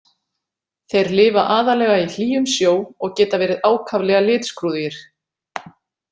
Þeir lifa aðallega í hlýjum sjó og geta verið ákaflega litskrúðugir.